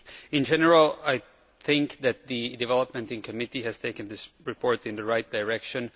In general I think that the development in committee has taken this report in the right direction.